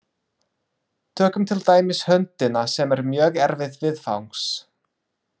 Tökum til dæmis höndina, sem er mjög erfið viðfangs.